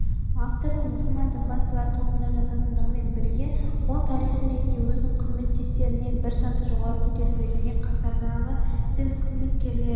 автордың мұсылман дінбасылары тобына жататындығымен бірге ол тарихшы ретінде өзінің қызметтестерінен бір саты жоғары көтерілуге және қатардағы дін қызметкерлері